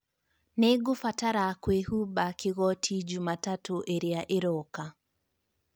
Nĩngũbatara kũĩhumba kĩgooti Jumatatũ ĩrĩa ĩroka.